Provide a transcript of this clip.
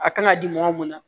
A kan ka di mɔgɔ mun ma